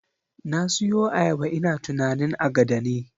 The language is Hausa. Na siyo ayaba ina tunanin agada ne